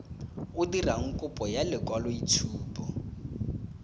o dirang kopo ya lekwaloitshupo